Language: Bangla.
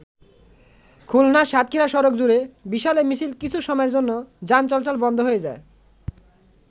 খুলনা-সাতক্ষীরা সড়ক জুড়ে বিশাল এ মিছিল কিছু সময়ের জন্য যান চলাচল বন্ধ হয়ে যায়।